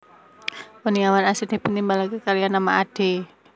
Kurniawan asring dipuntimbali kaliyan nama Ade